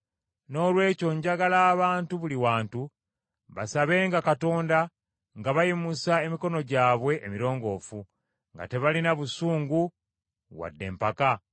Noolwekyo njagala abantu buli wantu, basabenga Katonda nga bayimusa emikono gyabwe emirongoofu, nga tebalina busungu wadde empaka.